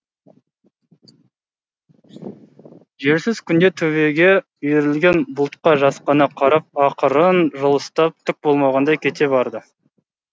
желсіз күнде төбеге үйірілген бұлтқа жасқана қарап ақырын жылыстап түк болмағандай кете барды